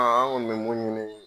An an kɔni bɛ mun ɲini.